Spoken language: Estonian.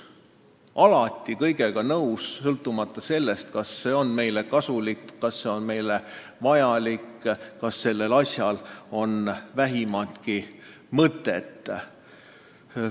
Alati kõigega nõus, sõltumata sellest, kas see on meile kasulik, kas see on meile vajalik, kas sellel on vähimatki mõtet.